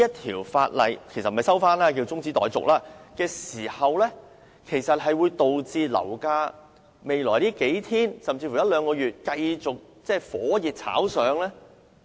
《條例草案》中止討論會否導致樓價在未來數天甚至一兩個月，繼續火熱炒上？